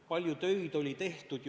Palju tööd oli juba tehtud.